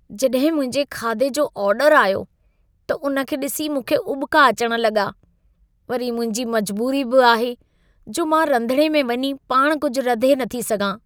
जॾहिं मुंहिंजे खाधी जो ऑर्डर आयो, त उन खे ॾिसी मूंखे उॿिका अचण लॻा। वरी मुंहिंजी मजबूरी बि आहे जो मां रंधिणे में वञी पाण कुझु रधे नथी सघां।